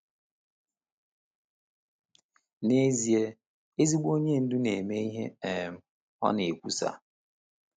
N’ezie, ezigbo onye ndu na-eme ihe um ọ na-ekwusa.